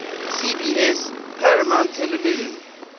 cbs paramount television